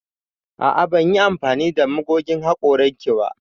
A'a ban yi amfani da magogin hakoran ki ba.